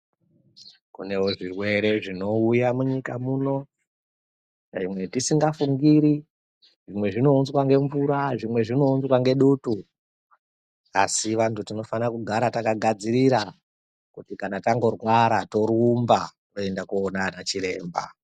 Kunewo zvirwere zvinouya munyika muno zvatisingafungiri zvimwe zvinounzwa ngemvura zvimwe zvinounzwa ngedutu asi vantu tinofana kugara takagadzirira kuti tangorwara torumba kuenda kundoona ana chiremba.